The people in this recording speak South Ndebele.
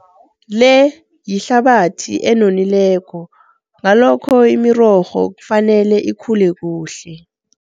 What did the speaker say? Le yihlabathi enonileko ngalokho imirorho kufanele ikhule kuhle.